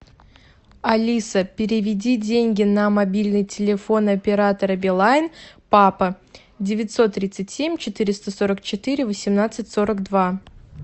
алиса переведи деньги на мобильный телефон оператора билайн папа девятьсот тридцать семь четыреста сорок четыре восемнадцать сорок два